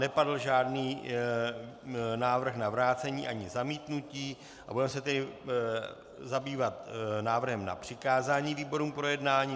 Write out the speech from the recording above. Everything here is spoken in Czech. Nepadl žádný návrh na vrácení ani zamítnutí, budeme se tedy zabývat návrhem na přikázání výborům k projednání.